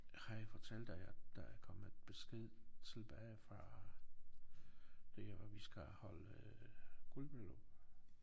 Har jeg fortalt dig at der er kommet besked tilbage fra der hvor vi skal holde øh guldbryllup?